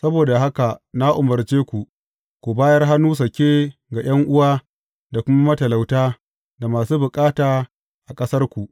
Saboda haka na umarce ku ku bayar hannu sake ga ’yan’uwa da kuma matalauta, da masu bukata a ƙasarku.